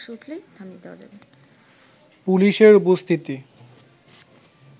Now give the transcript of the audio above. পুলিশের উপস্থিতি